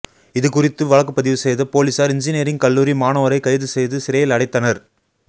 இதுகுறித்து வழக்குப்பதிவு செய்த போலீசார் இன்ஜினியரிங் கல்லூரி மாணவரை கைது செய்து சிறையில் அடைத்தனர்